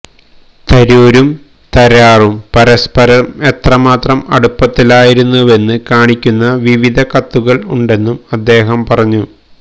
തരൂരും തരാറും പരസ്പരം എത്രമാത്രം അടുപ്പത്തിലായിരുന്നുവെന്ന് കാണിക്കുന്ന വിവിധ കത്തുകൾ ഉണ്ടെന്നും അദ്ദേഹം പറഞ്ഞു